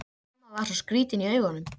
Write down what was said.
Mamma var svo skrýtin í augunum.